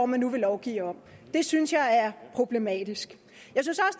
man nu vil lovgive om det synes jeg er problematisk